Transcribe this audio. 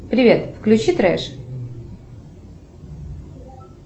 привет включи треш